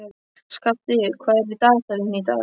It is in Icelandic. Skafti, hvað er á dagatalinu í dag?